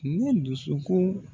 Ne dusukun